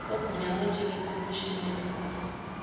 ogunyazwe njengekhomishina yezifungo